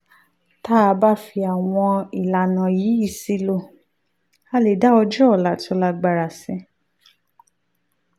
tá a bá fi àwọn ìlànà wọ̀nyí sílò a lè dá ọjọ́ ọ̀la tó lágbára sí